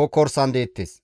kokkorsan deettes.